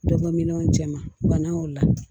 Dɔ bɔ min cɛ ma bana o la